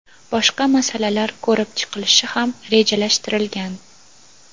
boshqa masalalar ko‘rib chiqilishi ham rejalashtirilgan.